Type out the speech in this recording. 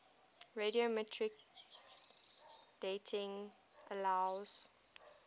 radiometric dating allows